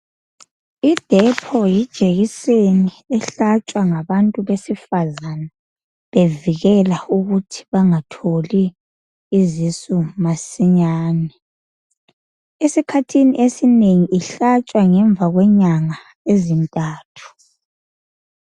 I"Depo" yijekiseni ehlatshwa ngabantu besifazane bevikela ukuthi bangatholi izisu masinyane. Esikhathini esinengi ihlatshwa ngemva kwenyanga ezintathu.